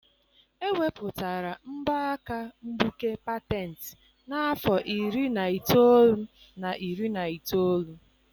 Ewepụtara mbọ aka mgbuke patent n'afọ iri na itoolu na iri na itoolu.